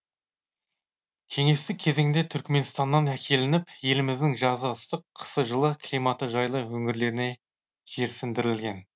кеңестік кезеңде түркіменстаннан әкелініп еліміздің жазы ыстық қысы жылы климаты жайлы өңірлеріне жерсіндірілген